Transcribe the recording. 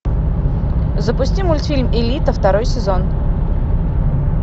запусти мультфильм элита второй сезон